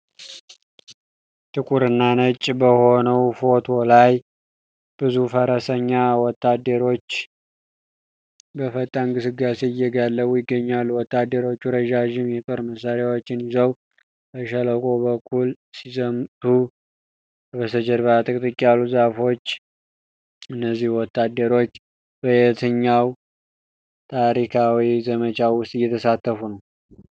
ጥቁርና ነጭ በሆነው ፎቶ ላይ፣ ብዙ ፈረሰኛ ወታደሮች በፈጣን ግስጋሴ እየጋለቡ ይገኛሉ። ወታደሮቹ ረዣዥም የጦር መሳሪያዎችን ይዘው በሸለቆው በኩል ሲዘምቱ፣ ከበስተጀርባ ጥቅጥቅ ያሉ ዛፎች አሉ። እነዚህ ወታደሮች በየትኛው ታሪካዊ ዘመቻ ውስጥ እየተሳተፉ ነው?